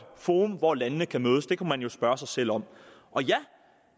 forum hvor landene kan mødes det kunne man jo spørge sig selv om og ja